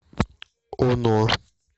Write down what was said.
оно